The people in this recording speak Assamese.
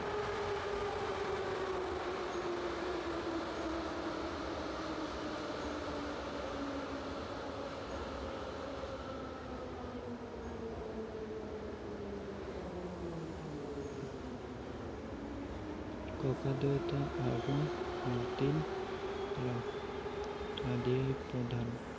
ককা দেউতা আৰু নাতিল ৰা আদিয়ে প্ৰধান ।